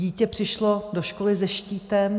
Dítě přišlo do školy se štítem.